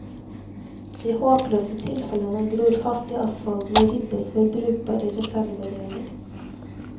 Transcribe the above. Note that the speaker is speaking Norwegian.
De håpløse tilfellene gror fast i asfalten og ribbes for brukbare reservedeler.